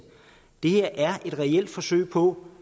det er et reelt forsøg på